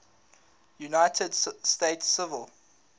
united states civil